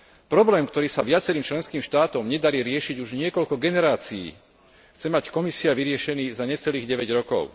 Problém, ktorý sa viacerým členským štátom nedarí riešiť už niekoľko generácií, chce mať Komisia vyriešený za necelých deväť rokov.